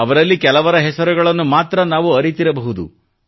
ಅವರಲ್ಲಿ ಕೆಲವರ ಹೆಸರುಗಳನ್ನು ಮಾತ್ರ ನಾವು ಅರಿತಿರಬಹುದು